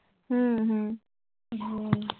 হুম হুম